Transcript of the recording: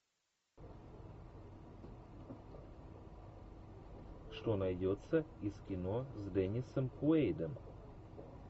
что найдется из кино с деннисом куэйдом